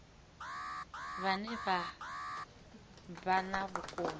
vhane vha vha na vhukoni